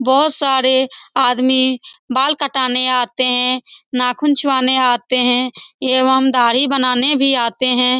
बहुत सारे आदमी बाल कटाने आते हैं नाख़ून छुआने आते हैं एवं दाढ़ी बनाने भी आते हैं।